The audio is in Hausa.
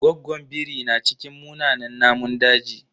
Goggon biri na cikin munanan namun daji.